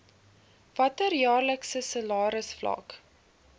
watter jaarlikse salarisvlak